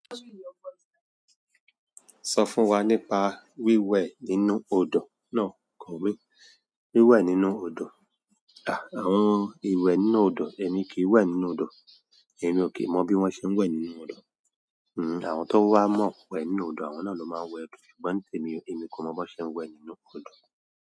Sọ fún wa nípa wíwẹ̀ nínú odò náà. Wíwẹ̀ nínú odò? Àwọn ìwẹ̀ nínú odò, èmi kì í wẹ́ nínú odò. Èmi ò kì í mọ bí wọ́n ṣe ń wẹ̀ nínú odò. Àwọn tó wá mọ̀ wẹ̀ nínú odò, àwọn náà ló máa ń wẹ̀. Ṣùgbọ́n nitèmi, èmi kò mọ bó ṣe ń wẹ̀ nínú odò.